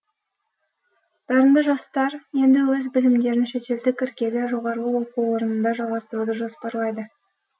дарынды жастар енді өз білімдерін шетелдік іргелі жоғары оқу орнында жалғастыруды жоспарлайды